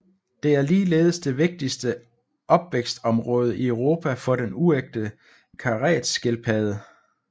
Det er ligeledes det vigtigste opvækstområde i Europa for den uægte karetskildpadde